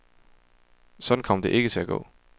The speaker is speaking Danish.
Sådan kom det ikke til at gå.